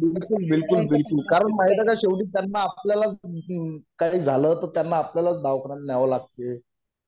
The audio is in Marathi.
नाही नाही बिलकुल बिलकुल बिलकुल कारण माहिती का शेवटी त्यांना आपल्याला च काही झालं तर त्यांना आपल्याला च दवाखान्यात न्यावे लागते